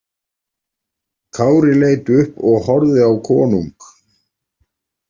Kári leit upp og horfði á konung.